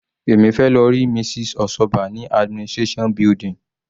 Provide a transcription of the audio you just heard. Èmi fẹ́ lọ rí Mrs. Osoba ní administration building.